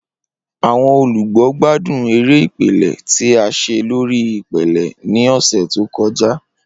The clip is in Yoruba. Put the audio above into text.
Awọn olugbo gbadun ere ipele ti a ṣe lori ipele ni ọsẹ to kọja.